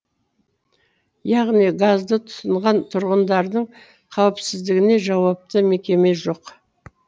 яғни газды тұтынған тұрғындардың қауіпсіздігіне жауапты мекеме жоқ